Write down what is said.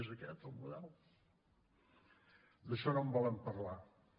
és aquest el model d’això no en volen parlar no